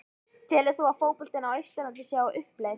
Telur þú að fótboltinn á Austurlandi sé á uppleið?